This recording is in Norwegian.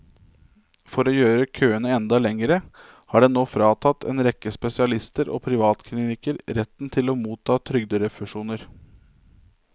For å gjøre køene enda lengre har den nå fratatt en rekke spesialister og privatklinikker retten til å motta trygderefusjoner.